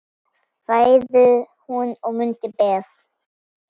Fæðu hún að munni ber.